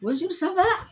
Wosibaa